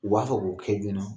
U b'a fɛ k'o kɛ joona